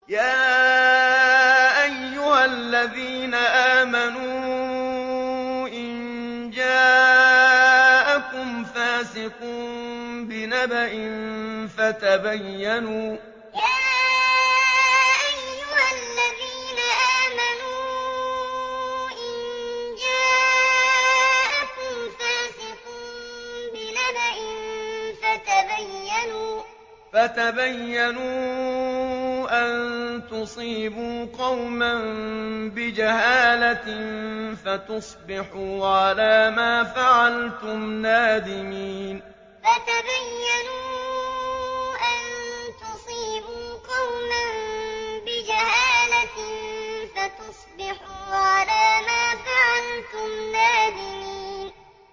يَا أَيُّهَا الَّذِينَ آمَنُوا إِن جَاءَكُمْ فَاسِقٌ بِنَبَإٍ فَتَبَيَّنُوا أَن تُصِيبُوا قَوْمًا بِجَهَالَةٍ فَتُصْبِحُوا عَلَىٰ مَا فَعَلْتُمْ نَادِمِينَ يَا أَيُّهَا الَّذِينَ آمَنُوا إِن جَاءَكُمْ فَاسِقٌ بِنَبَإٍ فَتَبَيَّنُوا أَن تُصِيبُوا قَوْمًا بِجَهَالَةٍ فَتُصْبِحُوا عَلَىٰ مَا فَعَلْتُمْ نَادِمِينَ